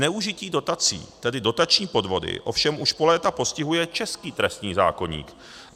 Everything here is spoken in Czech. Zneužití dotací, tedy dotační podvody, ovšem už po léta postihuje český trestní zákoník.